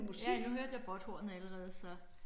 Ja nu hørte jeg båthornet allerede så